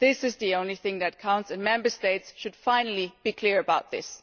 This is the only thing that counts and Member States should finally be clear about this.